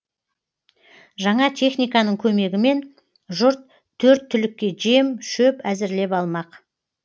жаңа техниканың көмегімен жұрт төрт түлікке жем шөп әзірлеп алмақ